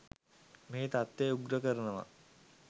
මේ තත්ත්වය උග්‍ර කරනවා.